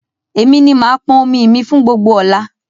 Èmi ni màá pọn omi mi fún gbogbo ọ̀la